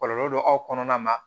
Kɔlɔlɔ dɔ aw kɔnɔna na